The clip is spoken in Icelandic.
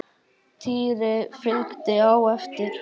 Týri fylgdi á eftir.